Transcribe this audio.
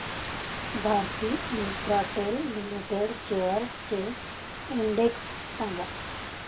Bharti Infratel Limited shares चा index सांगा